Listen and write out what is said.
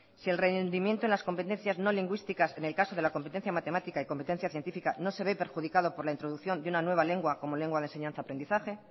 si el rendimiento en las competencias no lingüísticas en el caso de la competencia matemática y competencia científica no se ve perjudicado por la introducción de una nueva lengua como lengua de enseñanza aprendizaje